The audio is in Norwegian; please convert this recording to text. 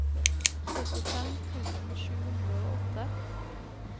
syttifem tusen sju hundre og åtte